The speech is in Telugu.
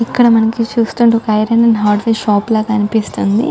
ఇక్కడ మనకి చూస్తుంటే ఐరన్ హార్డ్వేర్ షాపు లాగా ఆనిపిస్తుంది